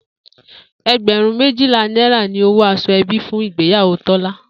E̩gbè̩rún méjìlá náírà ni owó as̩o̩-e̩bí fún ìgbéyàwó Tó̩lá